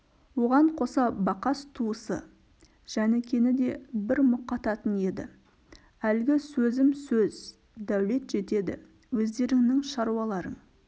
оған қоса бақас туысы жәнікені де бір мұқататын еді әлгі сөзім сөз дәулет жетеді өздеріңнің шаруаларың